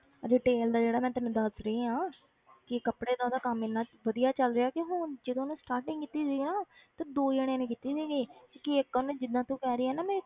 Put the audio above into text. Retail ਦਾ ਜਿਹੜਾ ਮੈਂ ਤੈਨੂੰ ਦੱਸ ਰਹੀ ਹਾਂ ਕਿ ਕੱਪੜੇ ਦਾ ਉਹਦਾ ਕੰਮ ਇੰਨਾ ਵਧੀਆ ਚੱਲ ਰਿਹਾ ਕਿ ਹੁਣ ਜਦੋਂ ਉਹਨੇ starting ਕੀਤੀ ਸੀ ਨਾ ਤੇ ਦੋ ਜਾਣਿਆਂ ਨੇ ਕੀਤੀ ਸੀਗੀ ਕਿ ਇੱਕ ਉਹਨੇ ਜਿੱਦਾਂ ਤੂੰ ਕਹਿ ਰਹੀ ਆਂ ਨਾ ਮੈਂ